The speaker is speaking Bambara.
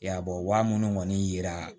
Ya bɔ wa minnu kɔni yira